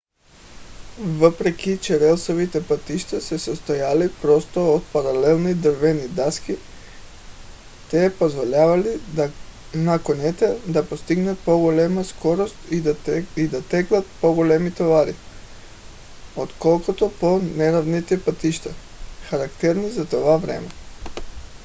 въпреки че релсовите пътища се състояли просто от паралелни дървени дъски те позволявали на конете да постигат по-голяма скорост и да теглят по-големи товари отколкото по по-неравните пътища характерни за това време